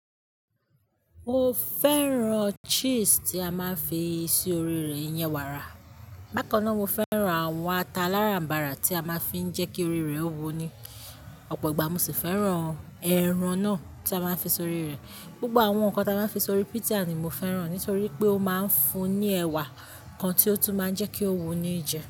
O fẹ́ràn cheese tí a máa ń fi sí orí rẹ̀, iyẹn wàrà. Bákan náà, mo fẹ́ràn àwọn ata aláràm̀barà tí a máa ń fi jẹ́ kí orí rẹ̀ ó wunni. Ọ̀pọ̀ ìgbà mo sì fẹ́ràn ẹran náà tí a máa ń fi sórí rẹ̀. Gbogbo àwọn nǹkan tí a máa ń fi sórí pizza ni mo fẹ́ràn nítorí pé ó máa ń fún ni ẹwà kan tí ó tún máa ń jẹ́ kí ó wun ní jẹ.